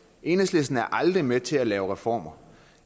enhedslisten er aldrig med til at lave reformer